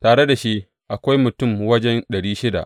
Tare da shi akwai mutum wajen ɗari shida.